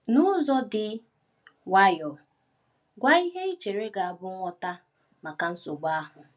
N’ụzọ dị nwayọọ, gwa ihe i chere ga-abụ ngwọta maka nsogbu ahụ.